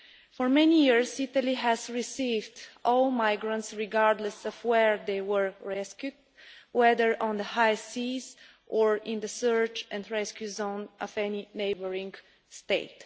For many years Italy has received all migrants, regardless of where they were rescued, whether on the high seas or in the search and rescue zone of any neighbouring state.